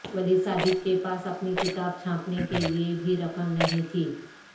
ولی صادق کے پاس اپنی کتاب چھاپنے کے لیے بھی رقم نہیں تھی